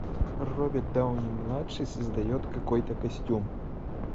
роберт дауни младший создает какой то костюм